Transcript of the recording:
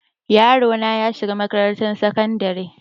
yarona yashiga makarantan sakandare